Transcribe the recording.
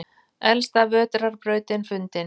Elsta vetrarbrautin fundin